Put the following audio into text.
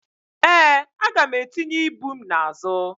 ee, aga m etinye ibu m n'azụ